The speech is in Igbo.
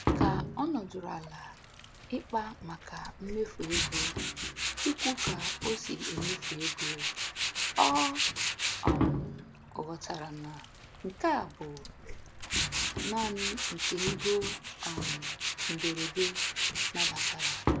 Ka ọ nọdụrụ ala ịkpa maka mmefu ego ikwu ka o si emefu ego, ọ um ghọtara na nke a bụ naanị nke ego um mberede nabatara.